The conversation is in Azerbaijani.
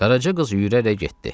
Qaraca qız yürərək getdi.